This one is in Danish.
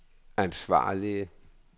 ansvarlige